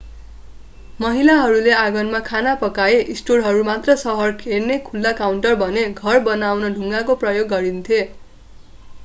महिलाहरूले आँगनमा खाना पकाए स्टोरहरू मात्र सहर हेर्ने खुल्ला काउन्टर बने घर बनाउन ढुङ्गाको प्रयोग गरिएन्थ्यो